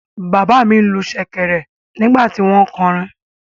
Bàbá mi lu ṣẹ̀kẹ̀rẹ̀ nígbà tí wọ́n ń kọrin.